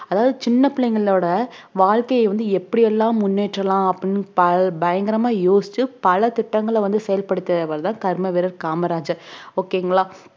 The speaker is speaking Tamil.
அதாவது சின்ன பிள்ளைகளோட வாழ்க்கைய வந்து எப்படி எல்லாம் முன்னேற்றலாம் அப்படின்னு பய~ பயங்கரமா யோசிச்சு பல திட்டங்கள வந்து செயல்படுத்தியவர் தான் கர்மவீரர் காமராஜர் okay ங்களா